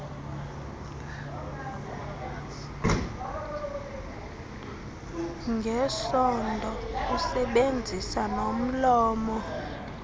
ngesondo usebenzisa nomlomo